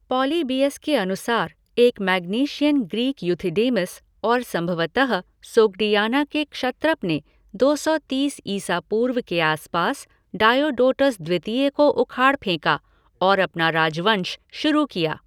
Polybius के अनुसार एक मैग्नेशियन ग्रीक यूथिडेमस और संभवतः सोग्डियाना के क्षत्रप ने दो सौ तीस ईसा पूर्व के आसपास डायोडोटस द्वितीय को उखाड़ फेंका और अपना राजवंश शुरू किया।